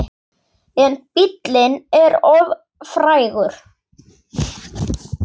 En bíllinn er of frægur.